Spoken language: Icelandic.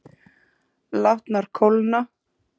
Látnar kólna.